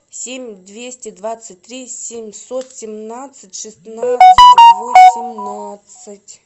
семь двести двадцать три семьсот семнадцать шестнадцать восемнадцать